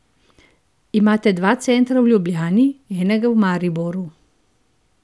Imate dva centra v Ljubljani, enega v Mariboru.